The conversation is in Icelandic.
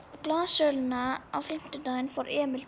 Eftir blaðasöluna á fimmtudaginn fór Emil til